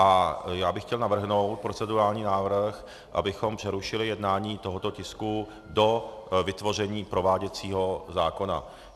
A já bych chtěl navrhnout procedurální návrh, abychom přerušili jednání tohoto tisku do vytvoření prováděcího zákona.